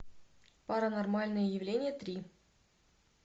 паранормальное явление три